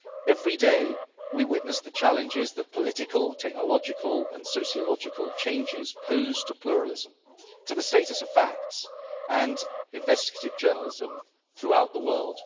Every day we witness the challenges that political, technological and sociological changes pose to pluralism, to the status of facts and investigative journalism throughout the world.